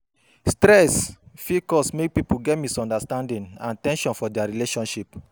Stress fit cause mek pipo get misunderstanding and ten sion for dia relationship